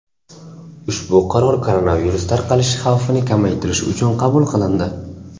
Ushbu qaror koronavirus tarqalishi xavfini kamaytirish uchun qabul qilindi.